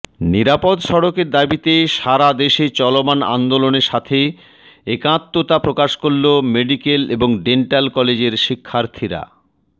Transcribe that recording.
নিরাপদ সড়কের দাবীতে সারাদেশে চলমান আন্দোলনের সাথে একাত্মতা প্রকাশ করলো মেডিকেল এবং ডেন্টাল কলেজের শিক্ষার্থীরা